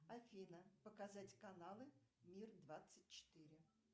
афина показать каналы мир двадцать четыре